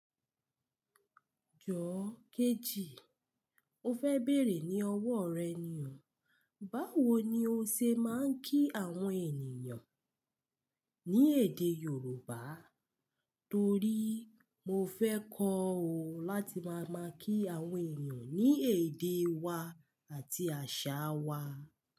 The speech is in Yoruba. Jọo kejì, mo fẹ bẹ̀rẹ̀ ní ọwọ́ rẹ ni o. Báwo ni o ṣe máa ń kí àwọn ènìyàn ní èdè Yorùbá? Torí mo fẹ́ kọ́ ọ láti máa ma kí àwọn ènìyàn ní èdè wa àti àṣà wa.